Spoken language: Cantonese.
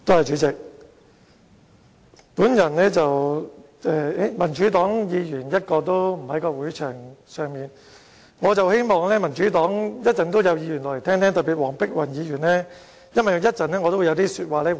現時會議廳內一位民主黨議員也沒有，但我希望稍後會有民主黨議員聆聽我的發言，特別是黃碧雲議員，因為我會作出回應。